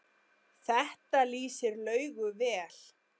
Þetta lýsir Laugu vel.